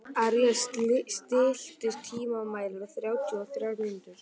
Ares, stilltu tímamælinn á þrjátíu og þrjár mínútur.